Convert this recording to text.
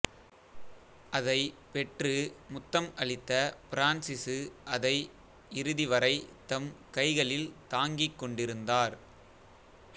அதைப் பெற்று முத்தம் அளித்த பிரான்சிசு அதை இறுதிவரைத் தம் கைகளில் தாங்கிக்கொண்டிருந்தார்